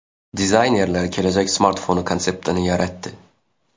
Dizaynerlar kelajak smartfoni konseptini yaratdi .